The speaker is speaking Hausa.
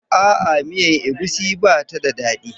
A'a, miyar egusi ba ta da daɗi.